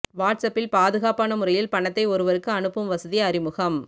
watts அப்பில் பாதுகாப்பான முறையில் பணத்தை ஒருவருக்கு அனுப்பும் வசதி அறிமுகம்